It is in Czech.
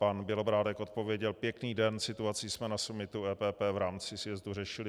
Pan Bělobrádek odpověděl: Pěkný den, situaci jsme na summitu EPP v rámci sjezdu řešili.